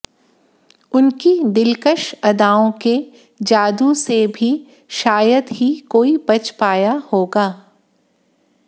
उनकी दिलकश अदाओं के जादू से भी शायद ही कोई बच पाया होगा